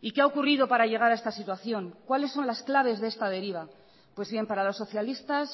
y qué ha ocurrido para llegar a esta situación cuáles son las claves de esta deriva pues bien para los socialistas